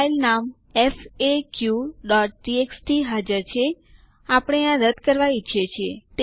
ચાલો હવે group id માટેના આદેશો શીખીએ